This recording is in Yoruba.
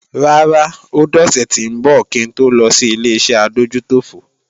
Rárá, ó dọ̀sẹ̀ tí ńbọ̀ kí ń to lọ sí Ileṣẹ́ adójútòfò